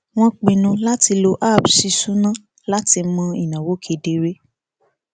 wọn pinnu láti lo app ṣíṣúná láti mọ ináwó kedere